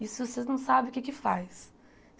Isso vocês não sabem o que é que faz.